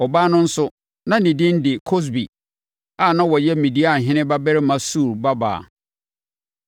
Ɔbaa no nso, na ne din de Kosbi a na ɔyɛ Midianhene babarima Sur babaa.